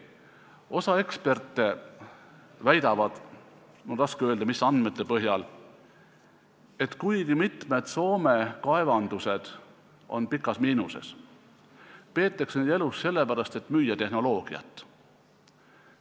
Osa eksperte väidab – mul on raske öelda, mis andmete põhjal –, et kuigi mitmed Soome kaevandused on suures miinuses, peetakse neid elus sellepärast, et müüa tehnoloogiat.